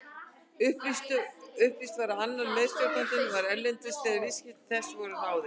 Upplýst var að annar meðstjórnandinn var erlendis þegar viðskipti þessi voru ráðin.